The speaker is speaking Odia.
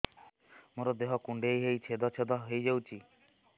ମୋ ଦେହ କୁଣ୍ଡେଇ ହେଇ ଛେଦ ଛେଦ ହେଇ ଯାଉଛି